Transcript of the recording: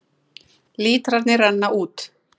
Lítrarnir renna út